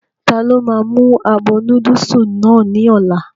Ta ló máa mú abọ́ núdùsì náà ní ọ̀la?